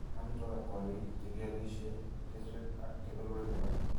ak amitwogikap kooriik , che kialisye , kesweek , ak kebeberwek alak .